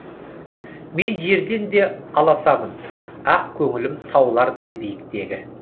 мен жерден де аласамын ақ көңілім таулардай биіктегі